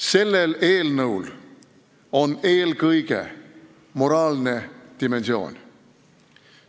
Sellel eelnõul on eelkõige moraalne dimensioon.